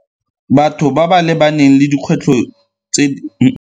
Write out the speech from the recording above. Batho ba ba lebaneng le dikgwetlho tse .